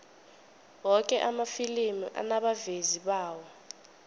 woke amafilimi anabavezi bawo